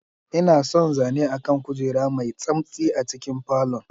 Ina son zane akan kujera mai tsamtsi a cikin falon.